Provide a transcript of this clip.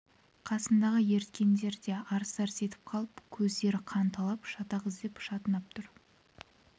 қасындағы ерткендері де арс-арс етіп қалып көздері қанталап шатақ іздеп шатынап тұр